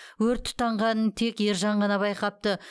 өрт тұтанғанын тек ержан ғана байқапты